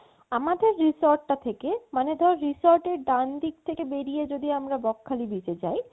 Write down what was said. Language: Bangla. আমাদের resort টা থেকে মানে ধর resort এর ডান ঠিক থেকে বেরিয়ে যদি আমরা বকখালি beach এ যাই